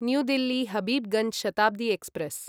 new Delhi Habibganj Shatabdi express